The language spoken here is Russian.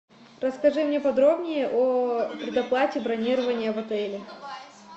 расскажи мне подробнее о предоплате бронирования в отеле